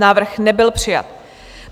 Návrh nebyl přijat.